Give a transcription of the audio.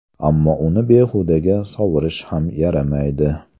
Ammo uni behudaga sovurish ham yaramaydi.